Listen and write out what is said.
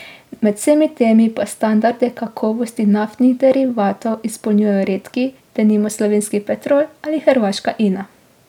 Med vsemi temi pa standarde kakovosti naftnih derivatov izpolnjujejo redki, denimo slovenski Petrol ali hrvaška Ina.